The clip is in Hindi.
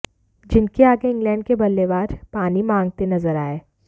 जिनके आगे इंग्लैंड के बल्लेबाज पानी मांगते नजर आए